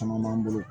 Caman b'an bolo